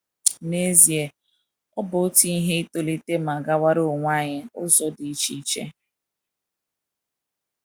N’ezie, ọ bụ otu ihe itolite ma gawara onwe anyi ụzo idi icheiche